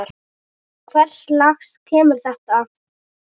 Hvers lags heimur er þetta?